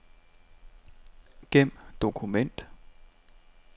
Gem dokument.